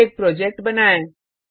अब एक प्रोजेक्ट बनाएँ